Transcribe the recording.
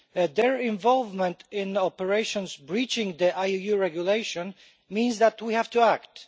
Their involvement in operations breaching the IUU Regulation means that we have to act.